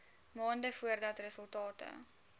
maande voordat resultate